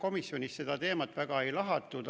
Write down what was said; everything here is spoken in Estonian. Komisjonis seda teemat pigem väga ei lahatud.